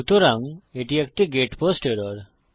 সুতরাং এটি একটি গেট পোস্ট এরর